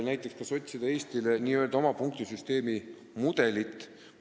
Näiteks, kas tuleks otsida Eestile oma punktisüsteemi mudelit.